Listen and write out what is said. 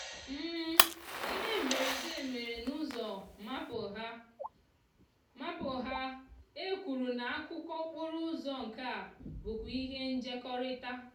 ihe mberede mere na úzò maple ha maple ha ekwuru na akúkò okporo úzò nkea búkwa ihe njekòrita.